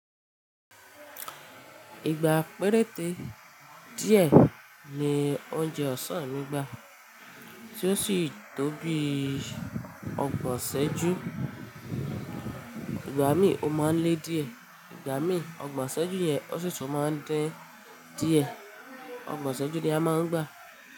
Ìgbà péréte díẹ̀ ni oúnjẹ ọ̀sán mi gbà tí ó sì tó bí ọgbọ̀n sẹ́jú. Ìgbà mí o máa ń lé díẹ̀, ìgbà mí ọgbọ̀n sẹ́jú yẹn ó sì tún máa ń dín díẹ̀. Ọgbọ̀n sẹ́jú ni a máa ń gbà.